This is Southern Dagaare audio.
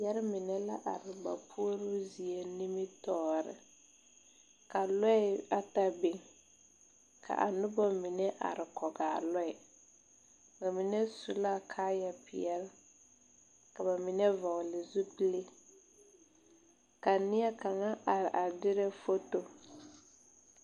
Yɛre mene la arẽ ba pouroo zie nimitoore ka lɔɛ ata beng ka nuba mene arẽ kɔgi a lɔɛ bamenne su la kaaya peɛle kaba mene vɔgli zupili ka neɛ kanga arẽ a direɛ foto.